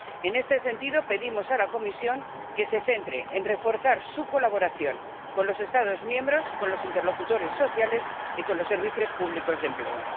En este sentido, pedimos a la Comisión que se centre en reforzar su colaboración con los Estados miembros, con los interlocutores sociales y con los servicios públicos de empleo.